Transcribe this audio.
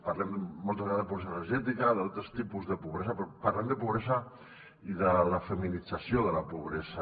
parlem moltes vegades de pobresa energètica d’altres tipus de pobresa però parlem de pobresa i de la feminització de la pobresa